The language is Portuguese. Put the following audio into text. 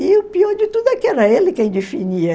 E o pior de tudo é que era ele quem definia.